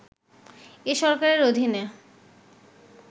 এ সরকারের অধীনে